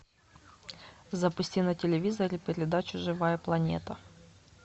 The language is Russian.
запусти на телевизоре передачу живая планета